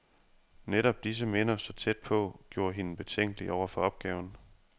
Netop disse minder, så tæt på, gjorde hende betænkelig over for opgaven.